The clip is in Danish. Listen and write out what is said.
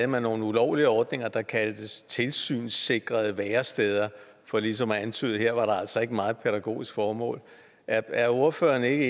man nogle ulovlige ordninger der kaldtes tilsynssikrede væresteder for ligesom at antyde at her var der altså ikke meget pædagogisk formål er ordføreren ikke